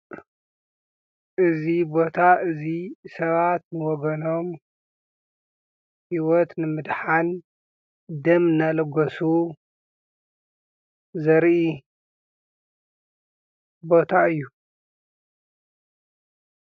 እዚ ቦታ እዚ ሰባት ንወገኖም ሂወት ንምድሓን ደም እናለገሱ ዘርኢ ቦታ እዩ።